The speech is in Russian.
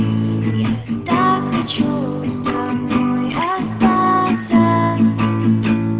не не вечен и странным